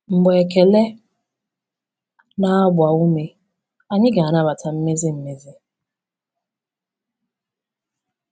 Mgbe ekele na-agba ume, anyị ga-anabata mmezi mmezi